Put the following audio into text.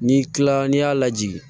Ni kila la n'i y'a lajigin